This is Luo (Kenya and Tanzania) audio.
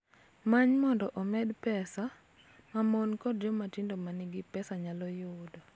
Many mondo omed pesa ma mon kod joma tindo ma nigi pesa nyalo yudo.